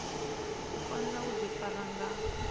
u fanela u ḓifara nga